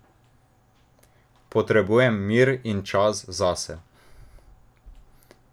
Potrebujem mir in čas zase.